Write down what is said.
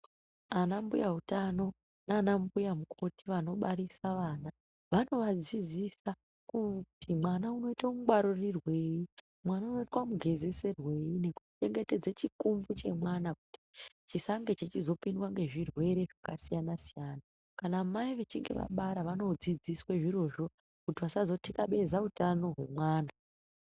Anambuya utano nana mbuya mukoti anobarisa vana vanovadzidzisa kuti mwana unoita mungwaririrwei, mwana unoitwa mugezeserwei nekuchengetedze chikuvhu chemwana chisange chichizopindwa ngezvirwere zvakasiyana-siyana. Kana mai vechinge vabara vanodzidziswe zvirozvo kuti vasazotikabeze hutano hwemwana.